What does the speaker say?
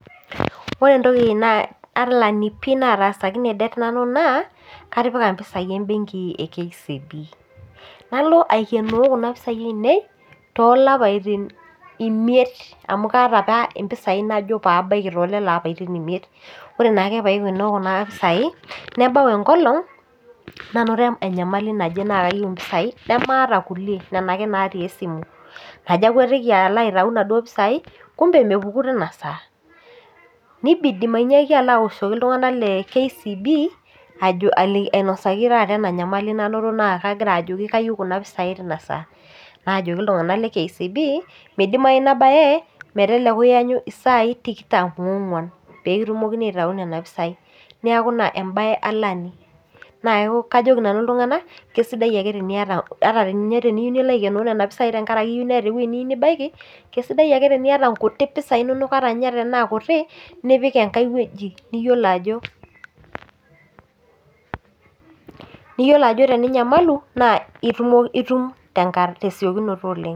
Ore entoki naa alani pii natasakine det nanu naa katipika impisai embenki e kcb nalo aikenoo kuna pisai ainei tolapaitin imiet amu kaata apa impisai naajo pabaiki tolelo apaitin imiet ore naake paikenoo kuna pisai nebau enkolong nanoto enyamali naje naa kayieu impisai nemaata kulie nena ake natii esimu najo akwetiki aitau inaduo pisai kumbe mepuku tina saa nibidi manyaaki alo awoshoki iltung'anak le kcb ali ainosaki taata ena nyamali nanoto naa kagira ajoki kayieu kuna pisai tina saa naajoki iltung'anak le kcb midimai ina baye meteleku iyanyu isai tikitam onguan pekitumokini aitau nena pisai neeku ina embaye alani naa keo kajoki nanu iltung'anak kesidai ake teniyata ata enye teniyiu nilo aikenoo nena pisai tenkaraki iyieu neeta ewueji niyieu nibaiki kesidai ake teniata inkutik pisai inonok ata ninye tenaa kutik nipik enkae wueji niyiolo ajo niyiolo ajo teninyamalu naa itumo itum tesiokinoto oleng.